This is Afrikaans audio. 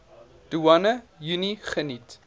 doeane unie geniet